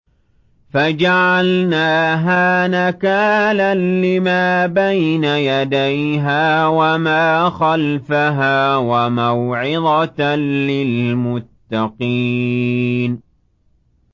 فَجَعَلْنَاهَا نَكَالًا لِّمَا بَيْنَ يَدَيْهَا وَمَا خَلْفَهَا وَمَوْعِظَةً لِّلْمُتَّقِينَ